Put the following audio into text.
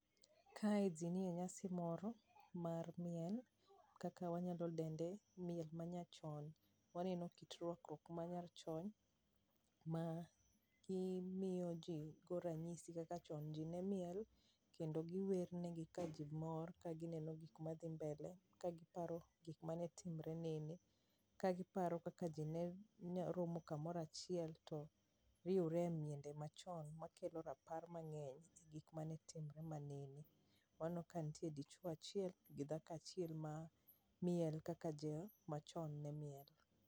Kae jii nie nyasi moro mar miel, kaka wanyalo dende miel manyachon. Waneno kit rwakruok ma nyachon ma imiyo jii go ranyisi kaka chon jii ne miel kendo giwer negi ka jii mor kagineno gik ma dhi mbele ka giparo gik mane timre nene, kagiparo kaka jii ne romo kamoro achiel to riwre e miende machon makelo rapar mangeny e gik mane timre manene. Waneno ka nitie dichuo achiel kod dhako achiel ma miel kaka jomachon ne miel